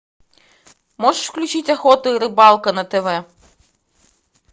можешь включить охота и рыбалка на тв